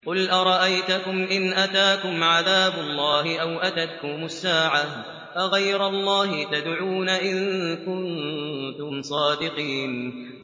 قُلْ أَرَأَيْتَكُمْ إِنْ أَتَاكُمْ عَذَابُ اللَّهِ أَوْ أَتَتْكُمُ السَّاعَةُ أَغَيْرَ اللَّهِ تَدْعُونَ إِن كُنتُمْ صَادِقِينَ